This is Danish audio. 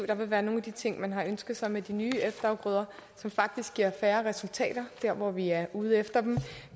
der vil være nogle af de ting man har ønsket sig med de nye efterafgrøder som faktisk giver færre resultater der hvor vi er ude efter dem